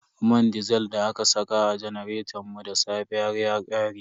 Man disil da aka saka a janaretan mu da safe har ya ƙare.